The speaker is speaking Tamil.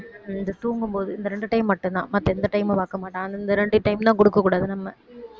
இந்த தூங்கும்போது இந்த ரெண்டு time மட்டும்தான் மத்த எந்த time உம் பாக்க மாட்டான் அந்த ரெண்டு time தான் கொடுக்கக் கூடாது நம்ம